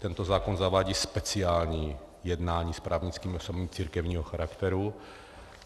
Tento zákon zavádí speciální jednání s právnickými osobami církevního charakteru.